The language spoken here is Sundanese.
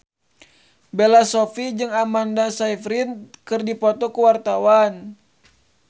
Bella Shofie jeung Amanda Sayfried keur dipoto ku wartawan